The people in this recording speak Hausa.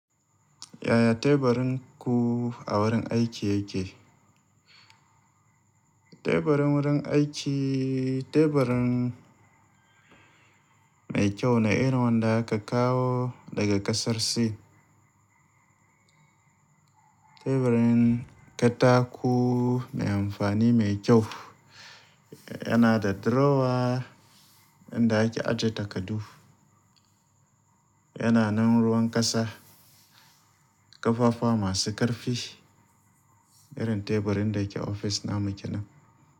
Yaya teburin ku a wurin aiki yake? Teburin wurin aiki, teburin mai kyau ne irin wanda aka kawo daga ƙasar Sin. Teburin katako mai amfani mai kyau. Yana da drawer inda ake aje takardu. Yana nan ruwan ƙasa, ƙafafa masu ƙarfi, irin teburin da ke ofis na mu kenan.